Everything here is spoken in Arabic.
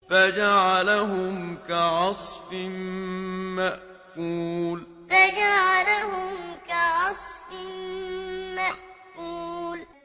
فَجَعَلَهُمْ كَعَصْفٍ مَّأْكُولٍ فَجَعَلَهُمْ كَعَصْفٍ مَّأْكُولٍ